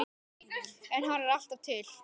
En hann er alltaf til.